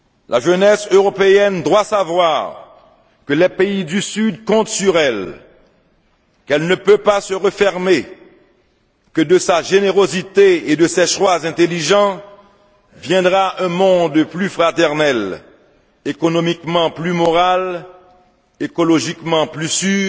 La jeunesse européenne doit savoir que les pays du Sud comptent sur elle, qu'elle ne peut pas se refermer, que de sa générosité et de ses choix intelligents viendra un monde plus fraternel, économiquement plus moral, écologiquement plus sûr,